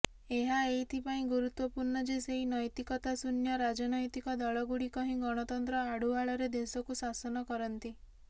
ଏହା ଏଇଥିପାଇଁ ଗୁରୁତ୍ବପୂର୍ଣ୍ଣ ଯେ ସେହି ନୈତିକତାଶୂନ୍ୟ ରାଜନୈତିକ ଦଳଗୁଡ଼ିକ ହିଁ ଗଣତନ୍ତ୍ର ଆଢୁଆଳରେ ଦେଶକୁ ଶାସନ କରନ୍ତି